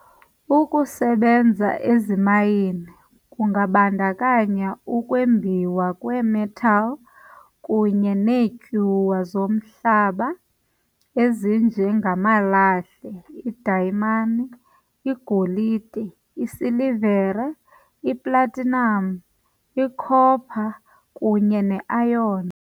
Ukusebenza ezimayini kungabandakanya ukwembiwa kweemetal kunye neetyuwa zomhlaba, ezinje ngamalahle, idayimani, igolide, isilivere, iplatinum, icopper, kunye neiron.